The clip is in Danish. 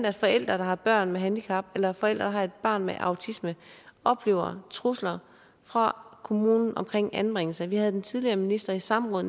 at forældre der har børn med handicap eller forældre der har et barn med autisme oplever trusler fra kommunen om anbringelse vi havde den tidligere minister i samråd